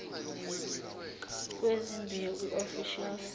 kwezimbewu iofficial seed